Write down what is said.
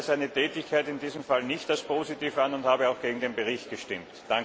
Ich sehe daher seine Tätigkeit in diesem Fall nicht als positiv an und habe auch gegen den Bericht gestimmt.